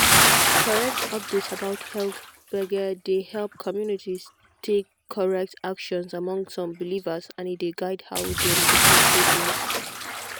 correct update about health gbege dey help communities take correct action among some believers and e dey guide how dem go choose treatment.